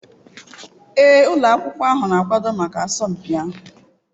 Ee ụlọ akwụkwọ ahụ na-akwado maka asọmpi ahụ.